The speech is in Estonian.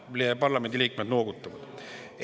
Ma näen, et parlamendi liikmed noogutavad.